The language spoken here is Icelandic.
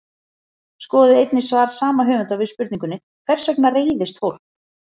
Skoðið einnig svar sama höfundar við spurningunni Hvers vegna reiðist fólk?